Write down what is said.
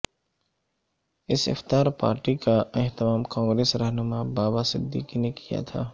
اس افطار پارٹی کا اہتمام کانگریس رہنما بابا صدیقی نے کیا تھا